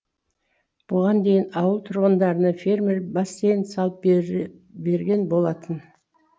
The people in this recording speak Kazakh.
бұған дейін ауыл тұрғындарына фермер бассейн салып бержен берген болатын